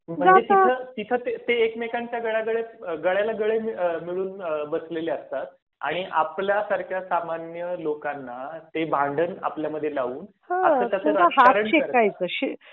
मग तिथे ते एकमेकांच्या गळ्यात गळे घालून बसलेले असतात आणि आपल्या सारख्या सामान्य लोकांना ते भांडण आपल्यामध्ये लावून. असे तस राजकरण करतात.